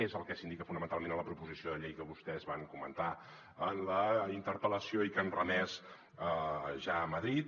és el que s’indica fonamentalment a la proposició de llei que vostès van comentar en la interpel·lació i que han remès ja a madrid